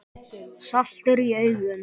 Saltur í augum.